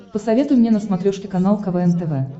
посоветуй мне на смотрешке канал квн тв